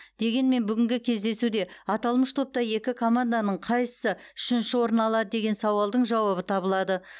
дегенмен бүгінгі кездесуде аталмыш топта екі команданың қайсысы үшінші орын алады деген сауалдың жауабы табылады